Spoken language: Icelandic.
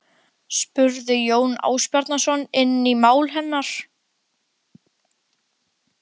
spurði Jón Ásbjarnarson inn í mál hennar.